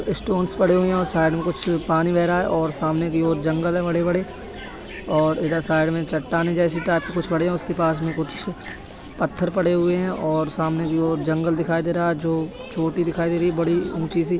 Stones पड़े हुए हैं औ साइड में कुछ पानी बह रहा है और सामने की ओर जंगल हैं बड़े-बड़े और इधर साइड में चट्टाने जैसी टाइप के कुछ पड़े हैं। उसके पास में कुछ पत्थर पड़े हुए हैं और सामने की ओर जंगल दिखाई दे रहा है जो चोटी दिखाई दे रही बड़ी ऊंची सी।